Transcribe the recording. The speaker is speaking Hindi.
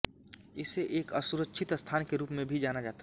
इसे एक असुरक्षित स्थान के रूप में भी जाना जाता था